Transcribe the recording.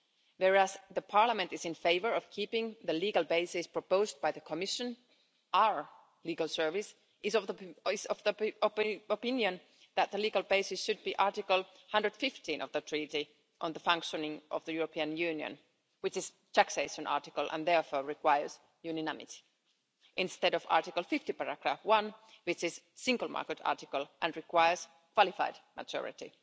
Whereas the Parliament is in favour of keeping the legal basis proposed by the Commission, our legal service is of the opinion that the legal basis should be Article 115 of the Treaty on the Functioning of the European Union, which is a taxation article and therefore requires unanimity, instead of Article 50, paragraph 1, which is a single market article and requires qualified majority.